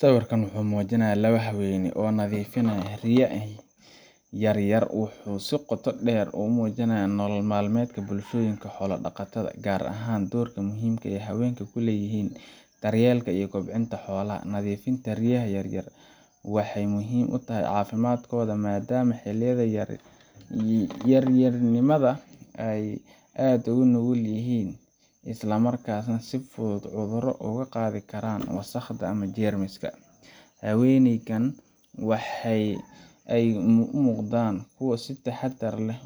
Sawirka muujinaya laba haween ah oo nadiifinaya ri’yaha yaryar wuxuu si qoto dheer u muujinayaa nolol maalmeedka bulshooyinka xoolo-dhaqatada ah, gaar ahaan doorka muhiimka ah ee haweenka ku leeyihiin daryeelka iyo kobcinta xoolaha. Nadiifinta ri’yaha yar yar waxay muhiim u tahay caafimaadkooda maadaama xilliyada yar-yarnimada ay aad u nugul yihiin isla markaana si fudud cudurro uga qaadi karaan wasakhda ama jeermiska. Haweenkan waxa ay u muuqdaan kuwo si taxaddar leh